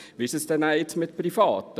Wie ist es dann mit Privaten?